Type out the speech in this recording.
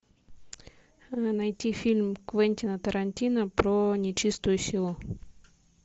найти фильм квентина тарантино про нечистую силу